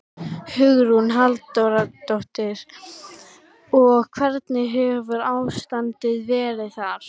Hugrún Halldórsdóttir: Og hvernig hefur ástandið verið þar?